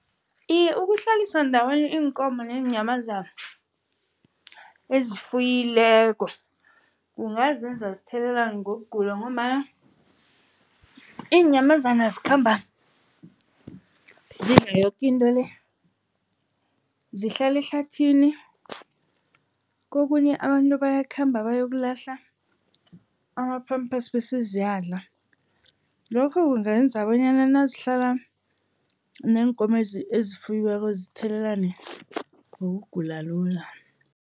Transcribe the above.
Iye, ukuhlalisa ndawonye iinkomo neenyamazana ezifuyileko kungazenza zithelelane ngokugula ngombana iinyamazana zikhamba zidla yoke into le, zihlala ehlathini. Kokunye abantu bayakhamba bayokulahla ama-pampers bese ziyadlala, lokhu kungenza bonyana nazihlala neenkomo ezifuyiweko zithelelane ngokugula lula.